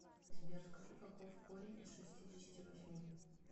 сбер скажи каков корень из шестидесяти восьми